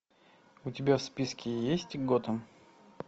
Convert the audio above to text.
у тебя в списке есть готэм